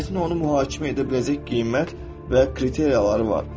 Cəmiyyətin onu mühakimə edə biləcək qiymət və kriteriyaları var.